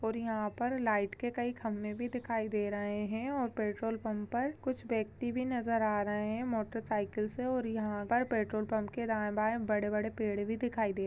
यहाँ पर लाइट के कई खम्बे भी दिखाई दे रहे है और पेट्रोल पंप पर कुछ व्यक्ति भी नजर आ रहे है मोटर साइकिल से और यहाँ पर पेट्रोल पंप के दायें-बाये बड़े-बड़े पेड़ भी दिखाई दे रहे है।